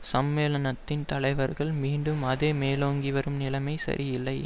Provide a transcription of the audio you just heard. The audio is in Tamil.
சம்மேளனத்தின் தலைவர்கள் மீண்டும் அதே மேலோங்கிவரும் நிலைமை சரியில்லை